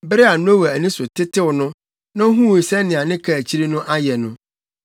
Bere a Noa ani so tetew no, na ohuu sɛnea ne kaakyiri no ayɛ no,